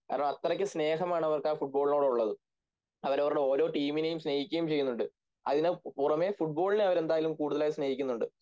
കാരണം അത്രക്കും സ്നേഹമാണ് അവർക്ക് ആ ഫുട്‍ബോളിനോടുള്ളത്‌ അവരവരുടെ ഓരോ ടീമിനെയും സ്നേഹിക്കുകയും ചെയ്യുന്നുണ്ട് അതിനു പുറമെ ഫുട്‍ബോളിനെ അവരെന്തായിലും കൂടുതലായി സ്നേഹിക്കുന്നുണ്ട്